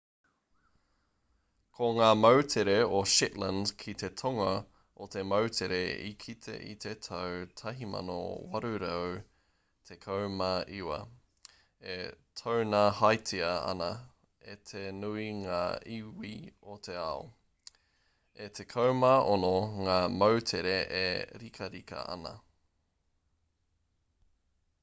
ko ngā moutere o shetland ki te tonga he moutere i kita i te tau 1819 e taunahatia ana e te nui ngā iwi o te ao e 16 ngā moutere e rikarika ana